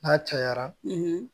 N'a cayara